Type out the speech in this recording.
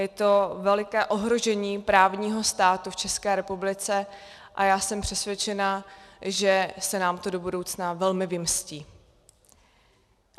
Je to veliké ohrožení právního státu v České republice a já jsem přesvědčená, že se nám to do budoucna velmi vymstí.